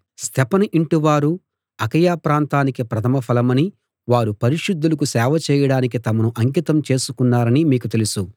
స్తెఫను ఇంటివారు అకయ ప్రాంతానికి ప్రథమ ఫలమనీ వారు పరిశుద్ధులకు సేవ చేయడానికి తమను అంకితం చేసుకున్నారనీ మీకు తెలుసు